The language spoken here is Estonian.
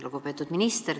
Lugupeetud minister!